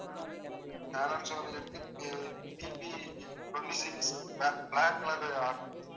Alan சோலில இருந்து BB twenty-six black black color order உ order பண்ணிருந்தேன்.